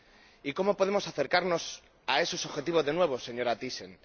Y ¿cómo podemos acercarnos a esos objetivos de nuevo, señora Thyssen?